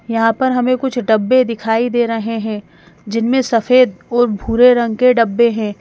यहां पर हमें कुछ डब्बे दिखाई दे रहें हैं जिनमें सफेद और भूरे रंग के डब्बे हैं।